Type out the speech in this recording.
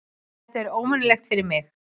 Þetta er óvenjulegt fyrir mig.